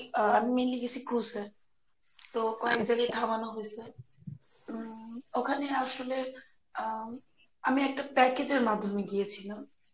আহ আমি mainly গেসি cruise এ So খাওয়ানো হইসে উম ওখানে আসলে আম আমি একটা package এর মাধ্যমে গিয়েছিলাম